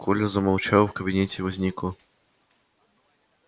коля замолчал и в кабинете возникла